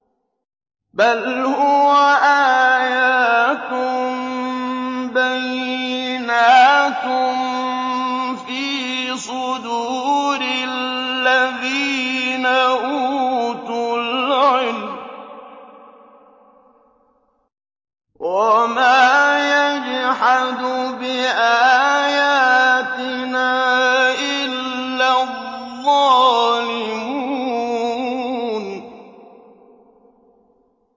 بَلْ هُوَ آيَاتٌ بَيِّنَاتٌ فِي صُدُورِ الَّذِينَ أُوتُوا الْعِلْمَ ۚ وَمَا يَجْحَدُ بِآيَاتِنَا إِلَّا الظَّالِمُونَ